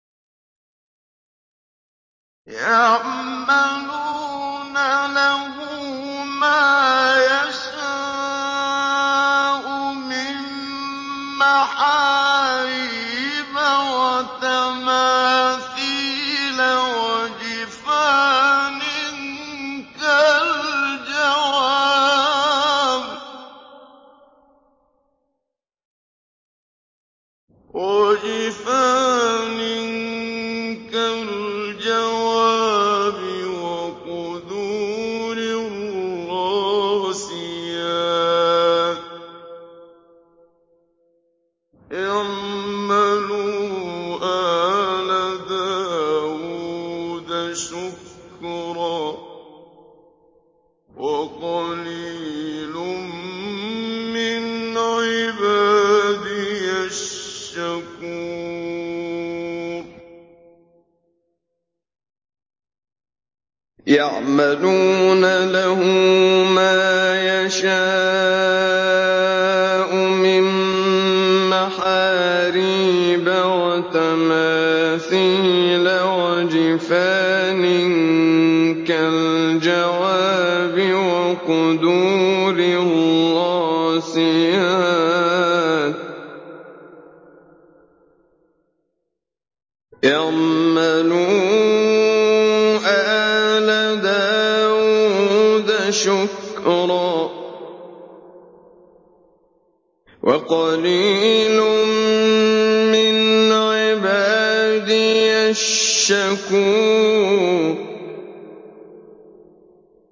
يَعْمَلُونَ لَهُ مَا يَشَاءُ مِن مَّحَارِيبَ وَتَمَاثِيلَ وَجِفَانٍ كَالْجَوَابِ وَقُدُورٍ رَّاسِيَاتٍ ۚ اعْمَلُوا آلَ دَاوُودَ شُكْرًا ۚ وَقَلِيلٌ مِّنْ عِبَادِيَ الشَّكُورُ